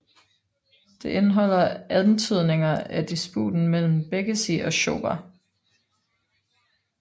Det indeholder antydninger af disputen mellem Békessy og Schober